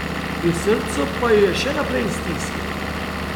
Pri srcu pa jo je še naprej stiskalo.